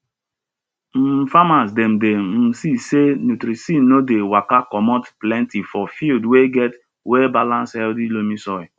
um farmas dem dey um see sey nutrisin no dey waka commot plenty for field wey get wellbalance healthy loamy soil